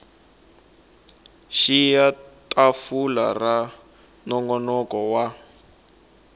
xiya tafula ra nongonoko wa